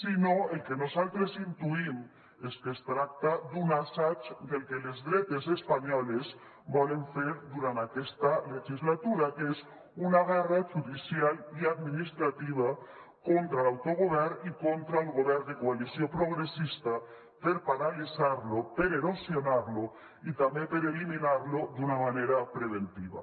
sinó que el que nosaltres intuïm és que es tracta d’un assaig del que les dretes espanyoles volen fer durant aquesta legislatura que és una guerra judicial i administrativa contra l’autogovern i contra el govern de coalició progressista per paralitzar lo per erosionar lo i també per eliminar lo d’una manera preventiva